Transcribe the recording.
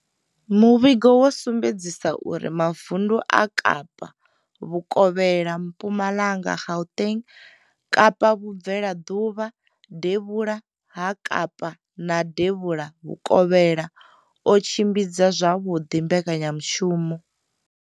Muvhigo wo sumbedzisa uri mavundu a Kapa vhukovhela, Mpumalanga, Gauteng, Kapa vhubvelaḓuvha, devhula ha Kapa na devhula vhukovhela o tshimbidza zwavhuḓi mbekanyamushumo.